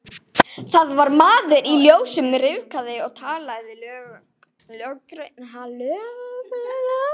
Það var maður í ljósum rykfrakka að tala við löggurnar.